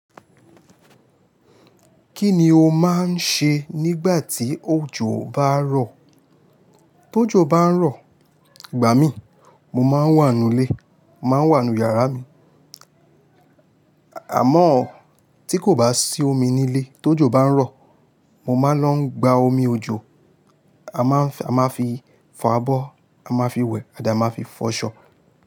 Kí ni o máa ń ṣe nígbà tí òjò bá rọ̀? Tó jò bá ń rọ̀, ìgbà mí, mo máa ń wà nú ilé, màá wà nú yàrá mi. Àmọ́ tí kò bá sí omi ní ilé, tó jò bá ń rọ̀, mo máa lọ gba omi ojò, a máa fi fà abọ́, a máa fi wẹ̀, àdí a máa fi fọṣọ.